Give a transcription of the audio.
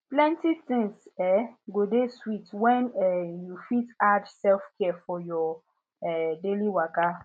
plenty tins um go dey sweet when um you fit add selfcare for your um daily waka